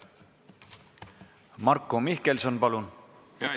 Marko Mihkelson, palun!